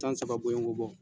San saba boyongo bɔ.